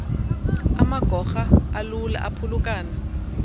amagorha alula aphulukana